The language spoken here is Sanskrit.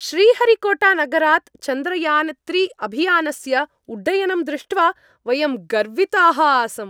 श्रीहरिकोटानगरात् चन्द्रयान् त्रि अभियानस्य उड्डयनं दृष्ट्वा वयं गर्विताः आसम्।